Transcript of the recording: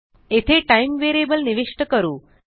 येथे टाइम निविष्ट करू